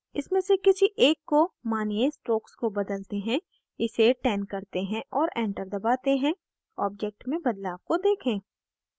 इसमें से किसी एक को मानिये strokes को बदलते हैं इसे 10 करते हैं और enter दबाते हैं object में बदलाव को देखें